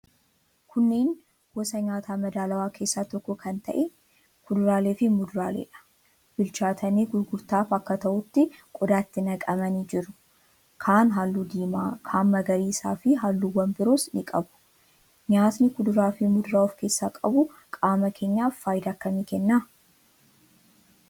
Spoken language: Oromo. Kunneen gosa nyaata madaalawaa keessaa tokko kan ta'e kuduraaleefi muduraaleedha. Bilchaatanii gurgurtaaf akka ta'utti qodaatti naqamanii jiru. Kaan halluu diimaa, kaan magariisaafi halluuwwan biroos ni qabu. Nyaatni kuduraafi muduraa of keessaa qabu qaama keenyaaf faayidaa akkamii kenna?